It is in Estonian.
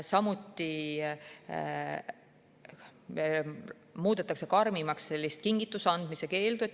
Samuti muudetakse karmimaks kingituse andmise keeld.